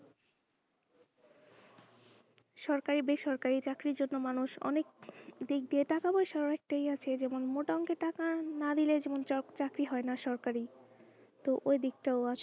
সরকারি বেসরকারি চাকরির জন্য মানুষ অনেক দিক দিয়ে টাকা পয়সাও একটা আছে যেমন মোটা অংকের টাকা না দোলে যেমন job চাকরি হয়না সরকারি তো এইদিক তাও আছে।